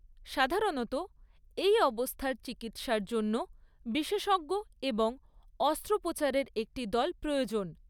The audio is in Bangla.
সাধারণত, এই অবস্থার চিকিৎসার জন্য বিশেষজ্ঞ এবং অস্ত্রোপচারের একটি দল প্রয়োজন।